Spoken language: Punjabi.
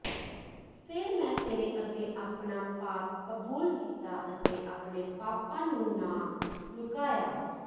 ਫ਼ੇਰ ਮੈਂ ਤੇਰੇ ਅੱਗੇ ਆਪਣਾ ਪਾਪ ਕਬੂਲ ਕੀਤਾ ਅਤੇ ਆਪਣੇ ਪਾਪਾਂ ਨੂੰ ਨਾ ਲੁਕਾਇਆ